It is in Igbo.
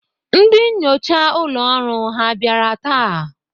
Ndị nnyocha ụlọ ọrụ ha bịara taa?